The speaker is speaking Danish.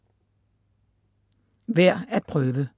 Værd at prøve